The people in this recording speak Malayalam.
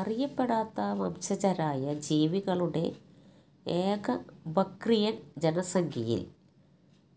അറിയപ്പെടാത്ത വംശജരായ ജീവികളുടെ ഏക ബക്റിയൻ ജനസംഖ്യയിൽ